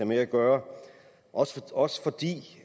med at gøre også også fordi